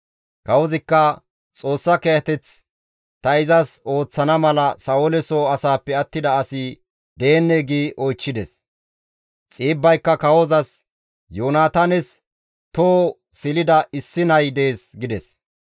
Kawozikka, «Xoossa kiyateth ta izas ooththana mala Sa7oole soo asaappe attida asi deennee?» gi oychchides. Xiibbayka kawozas, «Yoonataanes toho silida issi nay dees» gides.